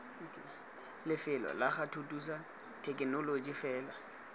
lefelo lago thuthusa thekenoloji lefelo